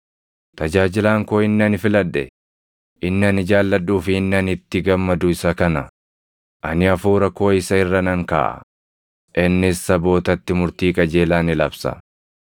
“Tajaajilaan koo inni ani filadhe, inni ani jaalladhuu fi inni ani itti gammadu isa kana; ani Hafuura koo isa irra nan kaaʼa; innis sabootatti murtii qajeelaa ni labsa.